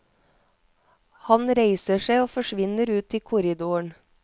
Han reiser seg og forvinner ut i korridoren.